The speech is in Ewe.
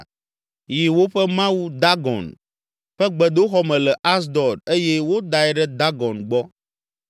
yi woƒe mawu Dagon, ƒe gbedoxɔ me le Asdod eye wodae ɖe Dagon gbɔ.